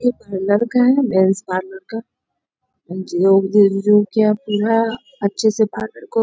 ये का है मेन्स पार्लर का जो धीरे-धीरे क्या पूरा अच्छे से पार्लर को --